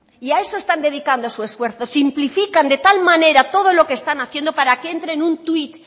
y a eso están dedicando su esfuerzo simplifican de tal manera todo lo que están haciendo para que entre en un tuit